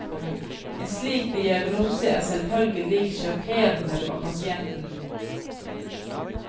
En slik diagnose er selvfølgelig sjokkerende for pasienten.